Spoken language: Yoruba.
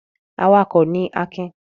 Awakọ̀ ni Akin.